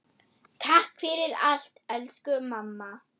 Takk fyrir allt elsku mamma.